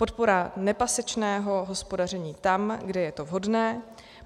Podpora nepasečného hospodaření tam, kde je to vhodné.